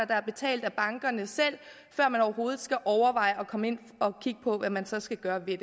der er betalt af bankerne selv før man overhovedet skal overveje at komme ind og kigge på hvad man så skal gøre ved